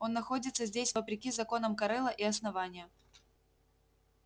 он находится здесь вопреки законам корела и основания